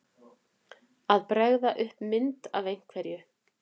Að bregða upp mynd af einhverju